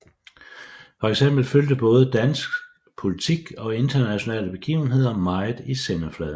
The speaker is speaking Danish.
Fx fyldte både dansk politik og internationale begivenheder meget i sendefladen